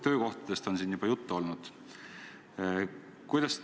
Töökohtadest on siin juba juttu olnud.